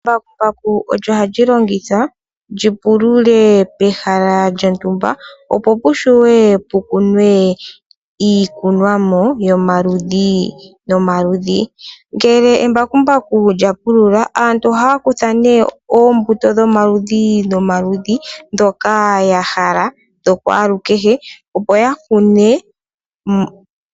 Embakumbaku olyo olyi longithwa li pulule pehala lyontumba opo pushiwe pukunwe iikunomwa yomaludhi nomaludhi. Ngele embakumbaku lya pulula aantu ohaya kutha nee oombuto dhomaludhi nomaludhi ndhoka yahala dho kwaalukehe opo yakune.